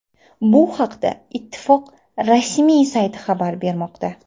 Bu haqda ittifoq rasmiy sayti xabar bermoqda .